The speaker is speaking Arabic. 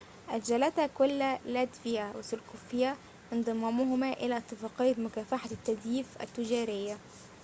أجلتا كلا لاتفيا وسلوفاكيا انضمامهما إلى اتفاقية مكافحة التزييف التجارية